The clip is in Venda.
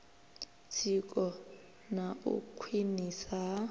tsiko na u khwiniswa ha